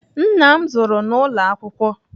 Nna m zụrụ n'ụlọ akwụkwọ.